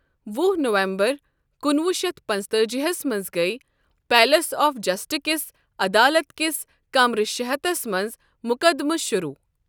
وُہ نومبر کُنوُہ شیتھ پانٛژتأجی ہَس منٛز گیۍ پیلَس آف جسٹسک عدالت کِس کمرٕ شےٚ ہتھس منٛز مُکدِمہٕ شروٗع۔